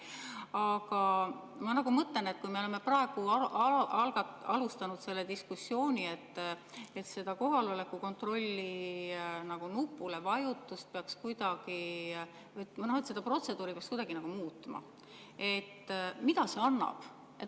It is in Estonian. Aga ma mõtlen, et kui me oleme praegu alustanud seda diskussiooni, et kohaloleku kontrolli nupuvajutust või seda protseduuri peaks kuidagi muutma, siis mida see annab.